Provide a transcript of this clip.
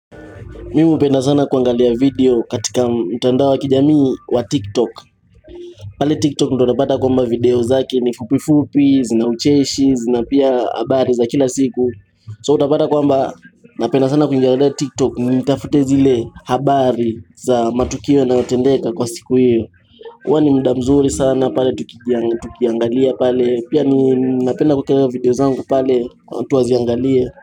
Mimi upenda sana kuangalia video katika mtandao wa kijamii wa tiktok pale tiktok ndio utapata kwamba video zake ni fupifupi zina ucheshi zina pia habari za kila siku So utapata kwamba napenda sana kuiangalia tiktok nitafute zile habari za matukio yanayotendeka kwa siku hiyo huwa ni mda mzuri sana pale tukiangalia pale pia ninapenda kueka video zangu pale kwa mtu aziangalia.